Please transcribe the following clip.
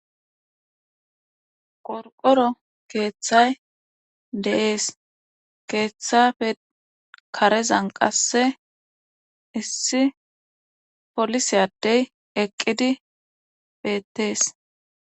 qorqoro keethay de7es keethappe karezan qassi issi polise addey eqqidi beettes.